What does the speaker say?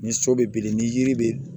Ni so bɛ biri ni yiri bɛ